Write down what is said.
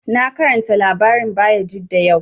Na karanta labarin Bayajidda yau